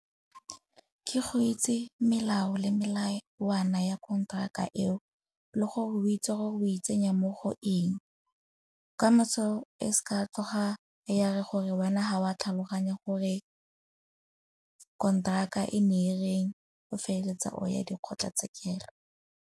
Ke go itse melao le melawana ya kontraka eo le gore o itse gore o itsenya mo go eng. Kamoso e seka tloga ya re gore wena ga wa tlhaloganya gore kontraka e ne e reng, o feleletsa o ya dikgotlhatsekelo.